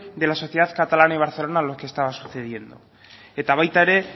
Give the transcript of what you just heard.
de la sociedad catalana y barcelona lo que estaba sucediendo eta baita ere